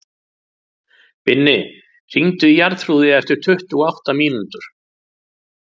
Binni, hringdu í Jarþrúði eftir tuttugu og átta mínútur.